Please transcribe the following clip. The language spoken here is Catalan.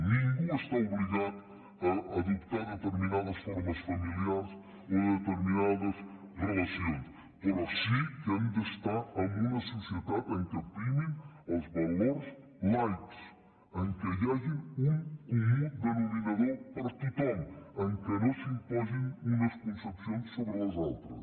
ningú està obligat a adoptar determinades formes familiars o determinades relacions però sí que hem d’estar en una societat en què primin els valors laics en què hi hagi un comú denominador per a tothom en què no s’imposin unes concepcions sobre les altres